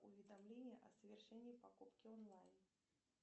уведомление о совершении покупки онлайн